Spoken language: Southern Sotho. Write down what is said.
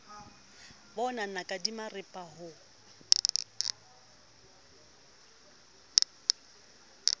bo naka di maripa ho